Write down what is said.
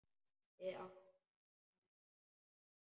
Við áttum að vera farnir.